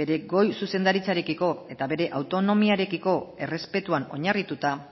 bere goi zuzendaritzarekiko eta bere autonomiarekiko errespetuan oinarrituta